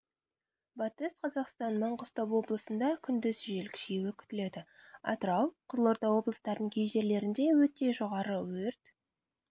батыс қазақстан маңғыстау облысында күндіз жел күшеюі күтіледі атырау қызылорда облыстарының кей жерлерінде өте жоғары өрт